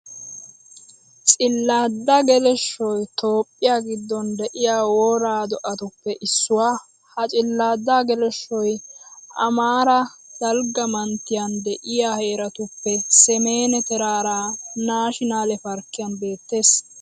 Cilaadda geleshshoy toophphiya giddon de'iya wora do'atuppe issuwa. Ha cilaadda geleshshoy amaara dalgga manttiyan de'iya heeratuppe semen teraaraa naashinaale parkkiyan beetteees.